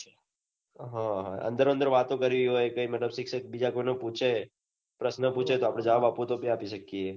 હા અંદરોઅંદર વાતો કરવી હોય શિક્ષક બીજા કોઈ ને પૂછે પ્રશ્ન પૂછે આપડે જવાબ આપવો તો આપી સકીએ એ